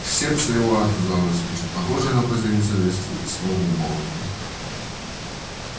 в сердце его отозвалось нечто похожее на угрызение совести и снова умолкло